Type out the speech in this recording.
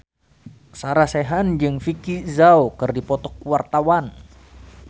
Sarah Sechan jeung Vicki Zao keur dipoto ku wartawan